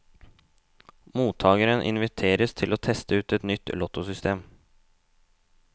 Mottageren inviteres til å teste ut et nytt lottosystem.